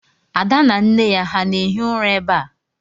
Ada na nne ya ha na-ehi ụra ebe a?